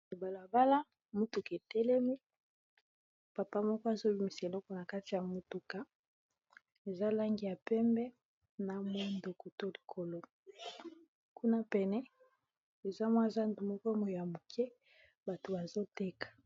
Na balabala motuka etelemi, papa moko azobimisa eloko na kati ya motuka eza langi ya pembe na mondoko to likolo kuna pene eza mwa zando moko ya moke bato bazoteka.